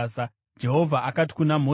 Jehovha akati kuna Mozisi,